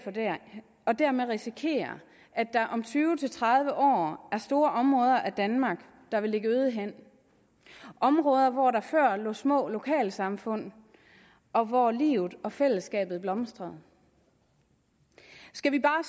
og dermed risikere at der om tyve til tredive år er store områder af danmark der vil ligge øde hen områder hvor der før lå små lokalsamfund og hvor livet og fællesskabet blomstrede skal vi bare